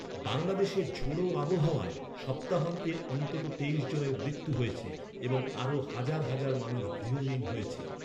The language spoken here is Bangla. বাংলাদেশের ঝোড়ো আবহাওয়ায়, সপ্তাহান্তে, অন্তত তেইশ জনের মৃত্যু হয়েছে এবং আরও হাজার হাজার মানুষ গৃহহীন হয়েছে।